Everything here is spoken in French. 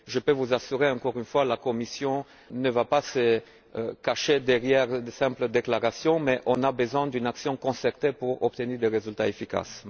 Je peux vous assurer, encore une fois, que la Commission ne va pas se cacher derrière de simples déclarations, mais nous avons besoin d'une action concertée pour obtenir des résultats efficaces.